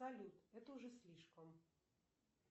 салют это уже слишком